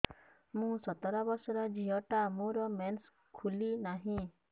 ମୁ ସତର ବର୍ଷର ଝିଅ ଟା ମୋର ମେନ୍ସେସ ଖୁଲି ନାହିଁ